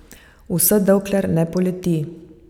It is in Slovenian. Vse dokler ne poleti.